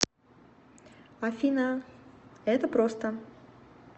афина это просто